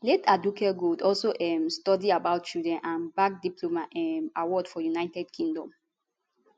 late aduke gold also um study about children and gbab diploma um award for united kingdom